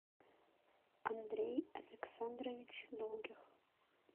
андрей александрович долгих